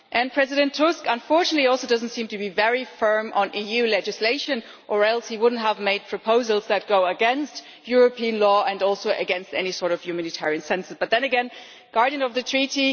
President Tusk unfortunately also does not seem to be very firm on EU legislation or else he would not have made proposals that go against European law and also against any sort of humanitarian sense. But then again, it is not he who is Guardian of the Treaty.